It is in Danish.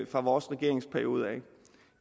fra vores regeringsperiode